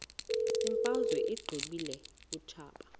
imfazwe uyiqibile utshaba